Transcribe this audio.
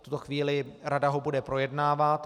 V tuto chvíli ho rada bude projednávat.